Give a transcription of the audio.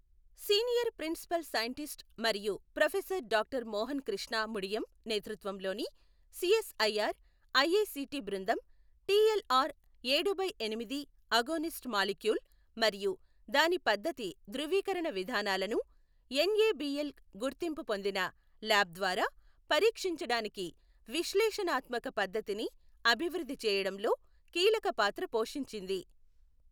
senior principal scientist మరియు professor doctor Mohana Krishna Mudiyam నేతృత్వంలోని CSIR IICT బృందం టిఎల్ఆర్ ఏడు బై ఎనిమిది అగోనిస్ట్ మాలిక్యూల్ మరియు దాని పద్ధతి ధ్రువీకరణ విధానాలను ఎన్ఏబిఎల్ గుర్తింపు పొందిన ల్యాబ్ ద్వారా పరీక్షించడానికి విశ్లేషణాత్మక పద్ధతిని అభివృద్ధి చేయడంలో కీలక పాత్ర పోషించింది..